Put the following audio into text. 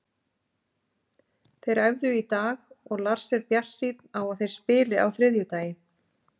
Þeir æfðu í dag og Lars er bjartsýnn á að þeir spili á þriðjudaginn.